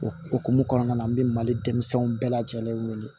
O hukumu kɔnɔna na n bɛ mali denmisɛnninw bɛɛ lajɛlen wele